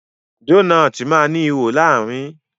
Dónáátì má ní ìwo láàrin.